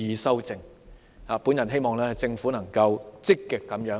我希望政府能夠積極、正面地面對問題。